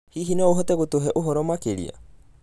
Hihi no ũhote gũtũhe ũhoro makĩria?